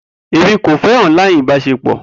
Emi ko fẹ online ibaṣepọ